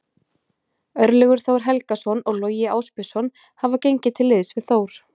Örlygur Þór Helgason og Logi Ásbjörnsson hafa gengið til liðs við Þór.